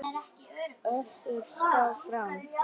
Össuri skákað fram.